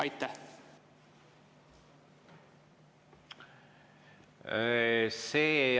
Aitäh!